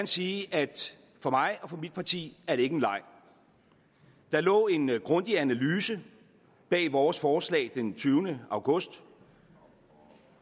sige at for mig og for mit parti er det ikke en leg der lå en grundig analyse bag vores forslag fra den tyvende august